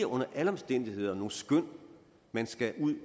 under alle omstændigheder nogle skøn man skal ud